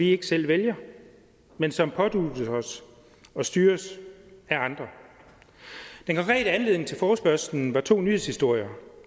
ikke selv vælger men som påduttes en og styres af andre den konkrete anledning til forespørgslen var to nyhedshistorier